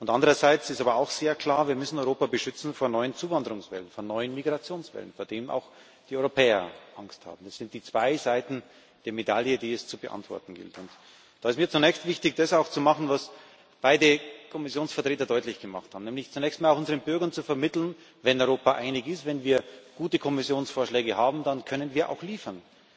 Andererseits ist aber auch sehr klar Wir müssen Europa vor neuen Zuwanderungswellen, vor neuen Migrationswellen beschützen, vor denen auch die Europäer Angst haben. Das sind die zwei Seiten der Medaille, die es zu beantworten gilt. Dabei ist mir zunächst auch wichtig, das zu machen, was beide Kommissionsvertreter deutlich gemacht haben, nämlich zunächst mal unseren Bürgern zu vermitteln Wenn Europa einig ist, wenn wir gute Kommissionsvorschläge haben, dann können wir auch liefern.